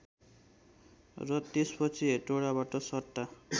र त्यसपछि हेटौँडाबाट सट्टा